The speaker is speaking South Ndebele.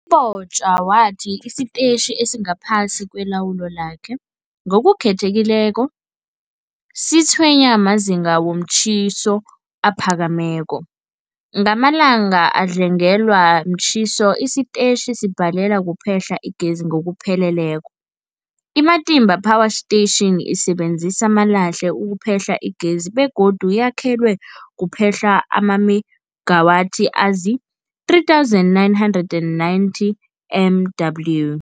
U-Mabotja wathi isitetjhi esingaphasi kwelawulo lakhe, ngokukhethekileko, sitshwenywa mazinga womtjhiso aphakemeko. Ngamalanga adlangelwe mtjhiso, isitetjhi sibhalelwa kuphehla igezi ngokupheleleko. I-Matimba Power Station isebenzisa amalahle ukuphehla igezi begodu yakhelwe ukuphehla amamegawathi azii-3990 MW.